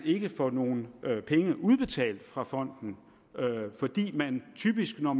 ikke få nogen penge udbetalt fra fonden fordi de typisk når